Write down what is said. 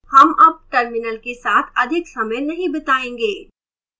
हम अब terminal के साथ अधिक समय नहीं बितायेंगे